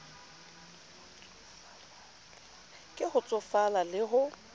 ke ho tsofala le ho